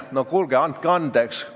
No kuulge, andke andeks!